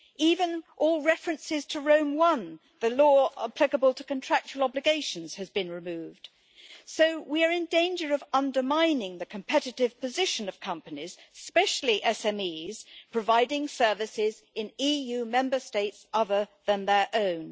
Even all references to Rome I, the law applicable to contractual obligations, have been removed, so we are in danger of undermining the competitive position of companies, especially SMEs, providing services in EU Member States other than their own.